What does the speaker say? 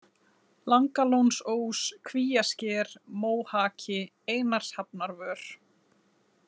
Langalónsós, Kvíasker, Móhaki, Einarshafnarvör